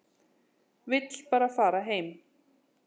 Vill bara fara heim.